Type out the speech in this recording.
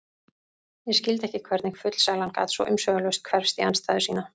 Ég skildi ekki hvernig fullsælan gat svo umsvifalaust hverfst í andstæðu sína.